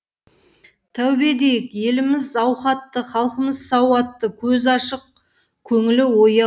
тәубе дейік еліміз ауқатты халқымыз сауатты көзі ашық көңілі ояу